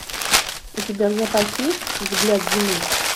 у тебя в запасе есть взгляд зимы